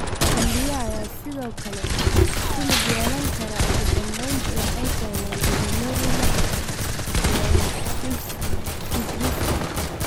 Kelyaha ayaa sidoo kale ku lug yeelan kara, ugu dambeyntii waxay keenaan glomerulonephritiska.